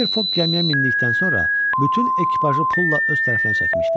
Mister Foq gəmiyə mindikdən sonra bütün ekipajı pulla öz tərəfinə çəkmişdi.